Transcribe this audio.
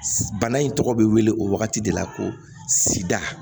Bana in tɔgɔ bɛ wele o wagati de la ko sida